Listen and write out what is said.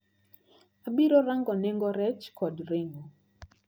Abiro rango nengo rech kod ring`o.